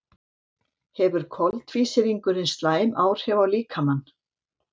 hefur koltvísýringurinn slæm áhrif á líkamann